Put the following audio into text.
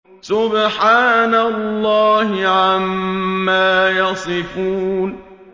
سُبْحَانَ اللَّهِ عَمَّا يَصِفُونَ